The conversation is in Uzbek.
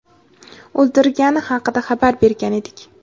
o‘ldirgani haqida xabar bergan edik.